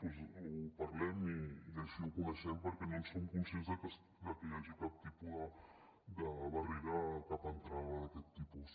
doncs ho parlem i així ho coneixem perquè no som conscients de que hi hagi cap tipus de barrera a cap entrada d’aquest tipus